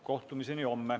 Kohtumiseni homme.